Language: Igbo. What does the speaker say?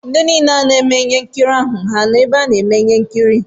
Ndị niile na-eme ihe nkiri ahụ ha nọ n'ebe a na-eme ihe nkiri?